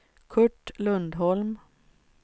Curt Lundholm